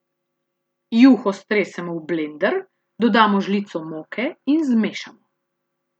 Juho stresemo v blender, dodamo žlico moke in zmešamo.